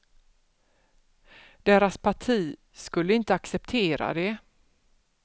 Deras parti skulle inte acceptera det.